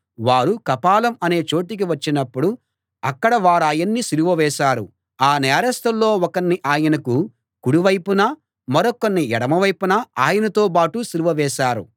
వారు కపాలం అనే చోటికి వచ్చినప్పుడు అక్కడ వారాయన్ని సిలువ వేశారు ఆ నేరస్తుల్లో ఒకణ్ణి ఆయనకు కుడి వైపున మరొకణ్ణి ఎడమవైపున ఆయనతోబాటు సిలువ వేశారు